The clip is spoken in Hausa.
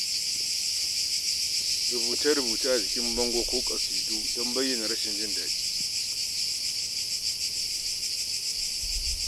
Rubuce-rubuce a jikin bango ko kasidu domin bayyana rashin jin daɗi.